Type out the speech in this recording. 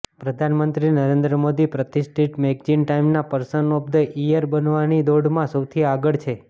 પ્રધાનમંત્રી નરેન્દ મોદી પ્રતિષ્ઠિત મૈગેજીન ટાઈમના પર્સન ઓફ ધ ઈયર બનવાની દોડમાં સૌથી આગળ છે